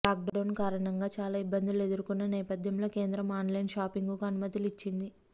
lockdown కారణంగా చాలా ఇబ్బందులు ఎదుర్కొన్న నేపథ్యంలో కేంద్రం ఆన్లైన్ షాపింగ్కు అనుమతులు ఇచ్చింది